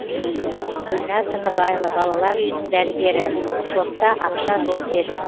гүлнар тыныбаева балалар үйінің дәрігері шотта ақша жоқ деді